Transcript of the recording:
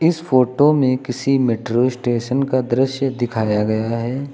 इस फोटो में किसी मेट्रो स्टेशन का दृश्य दिखाया गया है।